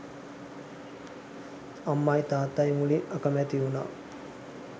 අම්මයි තාත්තයි මුලින් අකැමැති වුණා